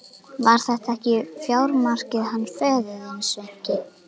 Var þetta ekki fjármarkið hans föður þíns, Sveinki?